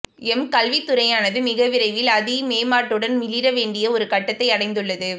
M கல்வித்துறையானது மிக விரைவில் அதி மேம்பாட்டுடன் மிளிர வேண்டிய ஒரு கட்டத்தை அடைந்துள்ளது